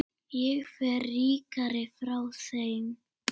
Ég fer ríkari frá þeim.